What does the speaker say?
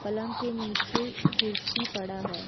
पलंग के नीचे कुर्सी पड़ा है।